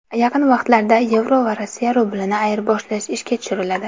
Yaqin vaqtlarda yevro va Rossiya rublini ayirboshlash ishga tushiriladi.